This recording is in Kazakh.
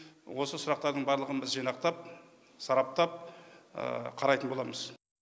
осы сұрақтардың барлығын біз жинақтап сараптап қарайтын боламыз